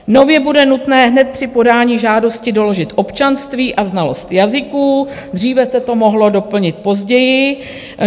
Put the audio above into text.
Nově bude nutné hned při podání žádosti doložit občanství a znalost jazyků, dříve se to mohlo doplnit později.